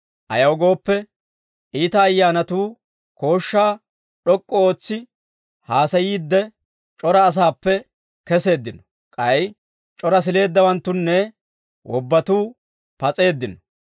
Ayaw gooppe, iita ayyaanatuu kooshshaa d'ok'k'u ootsi haasayiidde, c'ora asaappe keseeddino; k'ay c'ora sileeddawanttunne wobbatuu pas'eeddino.